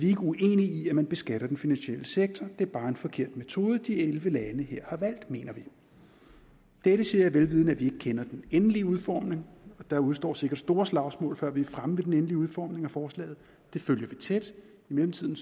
ikke uenige i at man beskatter den finansielle sektor det er bare en forkert metode de elleve lande her har valgt mener vi dette siger jeg vel vidende at vi ikke kender den endelige udformning der udestår sikkert store slagsmål før vi er fremme ved den endelige udformning af forslaget det følger vi tæt i mellemtiden